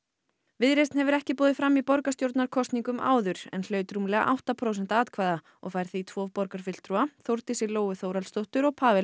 viðreisn hefur ekki boðið fram í borgarstjórnarkosningum áður en hlaut rúmlega átta prósent atkvæða og fær því tvo borgarfulltrúa Þórdísi Lóu Þórhallsdóttur og Pawel